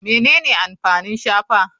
Menene amfanin shafa?